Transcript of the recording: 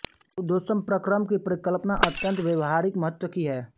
रुद्धोष्म प्रक्रम की परिकल्पना अत्यन्त व्यावहारिक महत्व की है